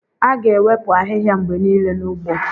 A ga-ewepụ ahịhịa mgbe niile n'ugbo.